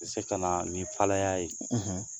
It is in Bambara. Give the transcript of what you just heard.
Bɛ se ka na ni falaya ye